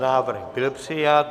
Návrh byl přijat.